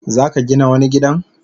Zaka Gina wani gidan?